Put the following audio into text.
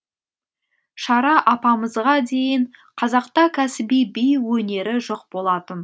шара апамызға дейін қазақта кәсіби би өнері жоқ болатын